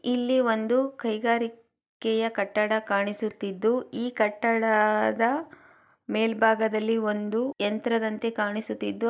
ಇಲ್ಲಿ ಒಂದು ಕೈಗಾರಿಕೆ ಯ ಕಟ್ಟಡ ಕಾಣಿಸುತ್ತಿದ್ದು ಈ ಕಟ್ಟಡದ ಮೇಲ್ಬಾಗದಲ್ಲಿ ಒಂದು ಯಂತ್ರದಂತೆ ಕಾಣಿಸುತ್ತಿದ್ದು--